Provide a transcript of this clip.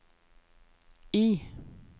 I